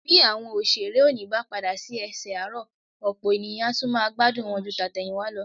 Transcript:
Bí àwọn òṣèré òní bá padà sí ẹsẹ̀ àárọ̀, ọ̀pọ̀ ènìyàn ni a tún máa gbádùn wọn ju tàtẹ̀yìnwá lọ